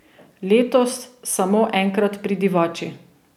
Letos samo enkrat pri Divači.